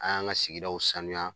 An y'an ka sigidaw saniya